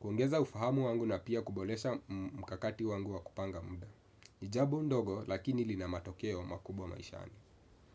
kuongeza ufahamu wangu na pia kuboresha mkakati wangu wa kupanga muda. Ni jambo ndogo lakini lina matokeo makubwa maishani.